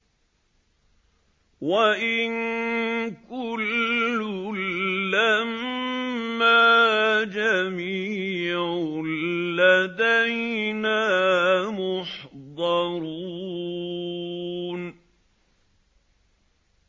وَإِن كُلٌّ لَّمَّا جَمِيعٌ لَّدَيْنَا مُحْضَرُونَ